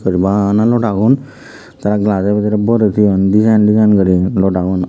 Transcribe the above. er bana loda gun the glass o bidirey borey thoyun design design guri loda gun.